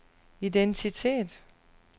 identitet